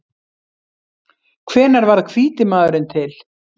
Hvenær varð hvíti maðurinn til?